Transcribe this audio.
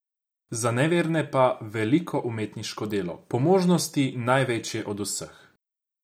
Za neverne pa veliko umetniško delo, po možnosti največje od vseh.